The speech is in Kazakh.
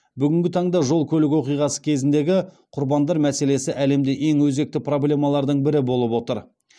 бүгінгі таңда жол көлік оқиғасы кезіндегі құрбандар мәселесі әлемде ең өзекті проблемалардың бірі болып отыр